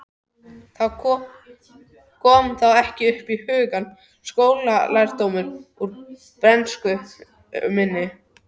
Kom þá ekki upp í hugann skólalærdómur úr bernsku minni.